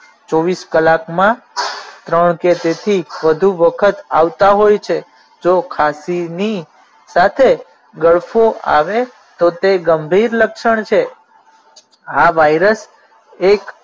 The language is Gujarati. ચોવીશ કલાકમાં ત્રણ કે તેથી વધુ વખત આવતા હોય છે જો ખાસીની સાથે ગળફો આવે તો તે ગંભીર લક્ષણ છે આ વાઇરસ એક